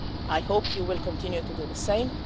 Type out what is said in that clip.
I hope you will continue to do the same.